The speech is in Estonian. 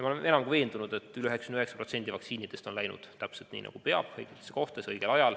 Ma olen enam kui veendunud, et üle 99% vaktsiinidest on läinud täpselt nii, nagu peab, õigesse kohta, õigel ajal.